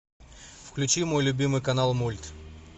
включи мой любимый канал мульт